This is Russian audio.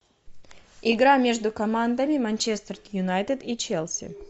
игра между командами манчестер юнайтед и челси